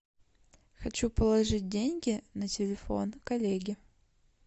хочу положить деньги на телефон коллеги